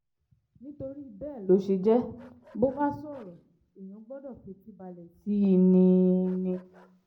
nítorí bẹ́ẹ̀ ló ṣe jẹ́ bó bá sọ̀rọ̀ èèyàn gbọ́dọ̀ fetí balẹ̀ sí i ni i ni